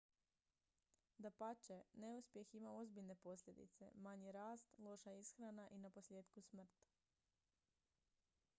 dapače neuspjeh ima ozbiljne posljedice manji rast loša ishrana i naposljetku smrt